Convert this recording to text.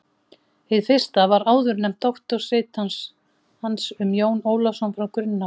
Hið fyrsta var áðurnefnt doktorsrit hans um Jón Ólafsson frá Grunnavík.